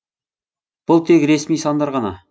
бұл тек ресми сандар ғана